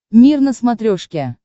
мир на смотрешке